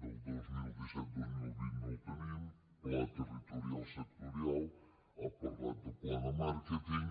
del dos mil disset dos mil vint no el tenim pla territorial sectorial ha parlat de pla de màrqueting